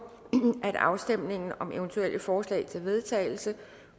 at afstemning om eventuelle forslag til vedtagelse